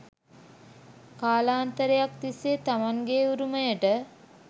කාලාන්තරයක් තිස්සේ තමන්ගේ උරුමයට